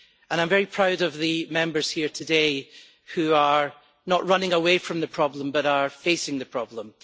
I am very proud of the Members here today who are not running away from the problem, but are facing the problem.